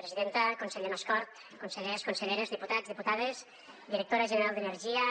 presidenta conseller mascort consellers conselleres diputats diputades directora general d’energia